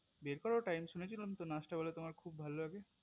বের করো time শুনছি নাচ টা তোমার খুব ভালো লাগে